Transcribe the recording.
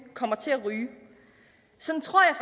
kommer til at ryge sådan tror jeg